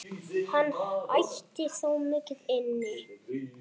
Hann ætti þó mikið inni.